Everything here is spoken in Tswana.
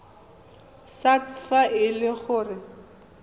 sars fa e le gore